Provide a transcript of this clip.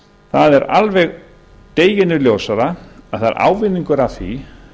það er alveg deginum ljósara að það er ávinningur af því